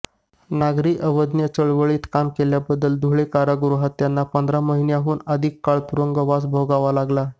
नागरी अवज्ञा चळवळीत काम केल्याबद्दल धुळे कारागृहात त्यांना पंधरा महिन्यांहून अधिक काळ तुरुंगवास भोगावा लागला